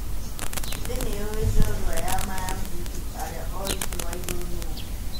"Thĩ nĩyũĩ njorwa ya maa ya ngundi arĩa o-ritũ waigũrũ nũũ.